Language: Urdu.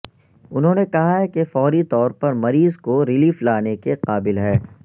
انہوں نے کہا کہ فوری طور پر مریض کو ریلیف لانے کے قابل ہے